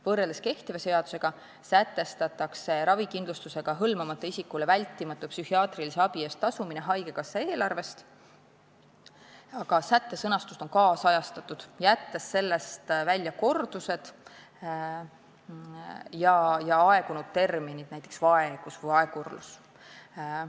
Võrreldes kehtiva seadusega sätestatakse ravikindlustusega hõlmamata isikule vältimatu psühhiaatrilise abi osutamise eest tasumine haigekassa eelarvest, aga sätte sõnastust on nüüdisajastatud, jättes sellest välja kordused ja aegunud terminid, näiteks "vaegus" või "vaegurlus".